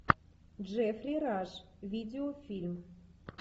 джеффри раш видеофильм